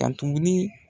Ka tuguni